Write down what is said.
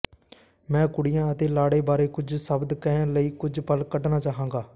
ਮੈਂ ਕੁੜੀਆਂ ਅਤੇ ਲਾੜੇ ਬਾਰੇ ਕੁਝ ਸ਼ਬਦ ਕਹਿਣ ਲਈ ਕੁਝ ਪਲ ਕੱਢਣਾ ਚਾਹਾਂਗਾ